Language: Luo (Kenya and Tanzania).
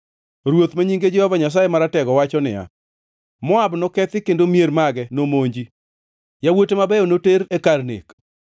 Ruoth, ma nyinge Jehova Nyasaye Maratego wacho niya, “Moab nokethi kendo mier mage nomonji; yawuote mabeyo noter e kar nek.